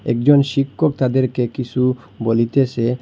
একজন শিক্ষক তাদেরকে কিসু বলিতেসে।